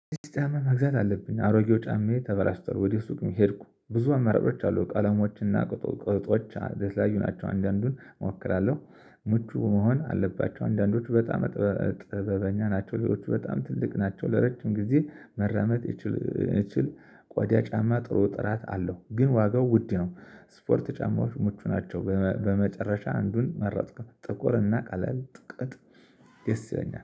አዲስ ጫማ መግዛት አለብኝ አሮጌው ጫማዬ ተበላሽቷል ወዲህ ሱቅ ሄድኩ ብዙ አማራጮች አሉ ቀለሞችና ቁጥቅጦች ለተለያዩ ናቸው አንዳንዱን እሞክራለሁ። ምቹ መሆን አለባቸው አንዳንዶቹ በጣም ጥበበኛ ናቸው። ሌሎቹ በጣም ትልቅ ናቸው ለረጅም ጊዜ መራመድ። እችል ቆዳ ጫማ ጥሩ ጥራት አለው ግን ዋጋው ውድ ነው። ስፖርት ጫማዎች ምቹ ናቸው በመጨረሻ አንዱን መረጥኩ ጥቁር እና ቀለል ጥቅጥ ደስ ይለኛል